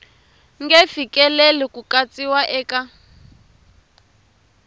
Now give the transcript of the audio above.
nge fikeleli ku katsiwa eka